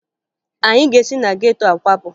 Anyị ga-esi na geto a kwapụ